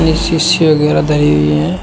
ये शीशी वगैरा धरी हुई है।